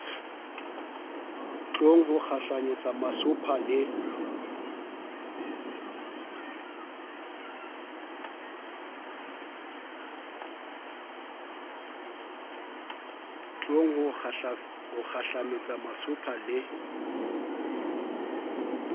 tlong ho kgahlanyetsa masopha le